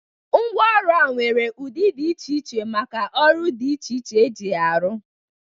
Mgwa ọrụ a nwere ụdi dị iche iche maka ọrụ dị iche iche e ji ya arụ.